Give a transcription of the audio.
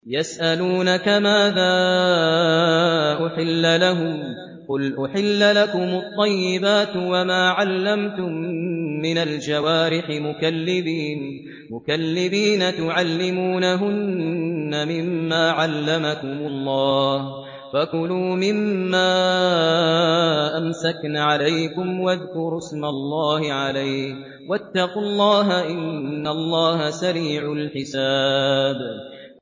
يَسْأَلُونَكَ مَاذَا أُحِلَّ لَهُمْ ۖ قُلْ أُحِلَّ لَكُمُ الطَّيِّبَاتُ ۙ وَمَا عَلَّمْتُم مِّنَ الْجَوَارِحِ مُكَلِّبِينَ تُعَلِّمُونَهُنَّ مِمَّا عَلَّمَكُمُ اللَّهُ ۖ فَكُلُوا مِمَّا أَمْسَكْنَ عَلَيْكُمْ وَاذْكُرُوا اسْمَ اللَّهِ عَلَيْهِ ۖ وَاتَّقُوا اللَّهَ ۚ إِنَّ اللَّهَ سَرِيعُ الْحِسَابِ